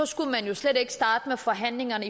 skulle man jo slet ikke starte forhandlinger